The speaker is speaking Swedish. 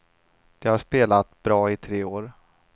De har spelat bra i tre år.